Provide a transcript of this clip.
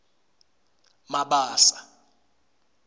mabasa